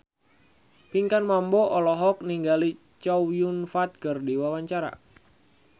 Pinkan Mambo olohok ningali Chow Yun Fat keur diwawancara